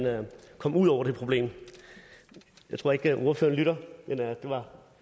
kom ud over det problem jeg tror ikke at ordføreren lytter men det var